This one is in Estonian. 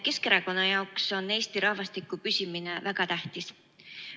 Keskerakonna jaoks on Eesti rahvastiku püsimine väga tähtis.